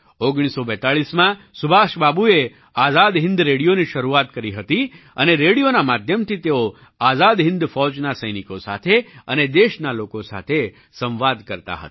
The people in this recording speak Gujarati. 1942માં સુભાષબાબુએ આઝાદ હિન્દ રેડિયોની શરૂઆત કરી હતી અને રેડિયોના માધ્યમથી તેઓ આઝાદ હિન્દ ફૌજના સૈનિકો સાથે અને દેશના લોકો સાથે સંવાદ કરતા હતા